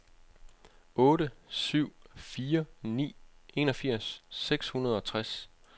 otte syv fire ni enogfirs seks hundrede og tres